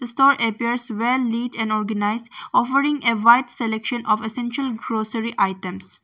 The store appears well neat and organized offering a wide selection of essential grocery items.